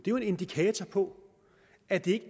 jo en indikator på at det